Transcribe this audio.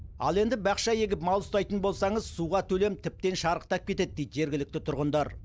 ал енді бақша егіп мал ұстайтын болсаңыз суға төлем тіптен шарықтап кетеді дейді жергілікті тұрғындар